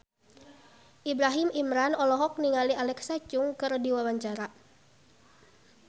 Ibrahim Imran olohok ningali Alexa Chung keur diwawancara